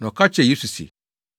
Na ɔka kyerɛɛ Yesu se,